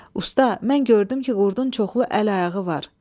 Usta, mən gördüm ki, qurdun çoxlu əli var.